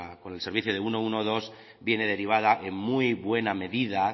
con el servicio de ciento doce viene derivada en muy buena medida